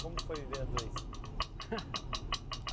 Como foi viver a dois?